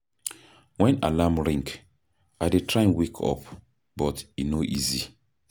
Wen alarm ring, I dey try wake up, but e no easy.